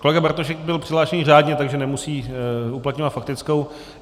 Kolega Bartošek byl přihlášený řádně, takže nemusí uplatňovat faktickou.